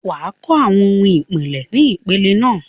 wà á kọ́ àwọn ohun ìpìlẹ̀ ni ìpele náà.